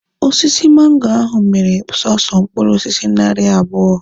Osisi mango ahụ mịrị sọsọ mkpụrụ osisi narị abụọ.